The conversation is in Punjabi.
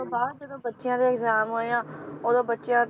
ਤੋਂ ਬਾਅਦ ਜਦੋ ਬੱਚਿਆਂ ਦੇ exam ਹੋਏ ਆ ਓਦੋਂ ਬੱਚਿਆਂ